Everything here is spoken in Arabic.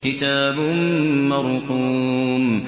كِتَابٌ مَّرْقُومٌ